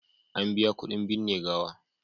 An biya kuɗin binne gawa.